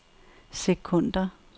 sekunder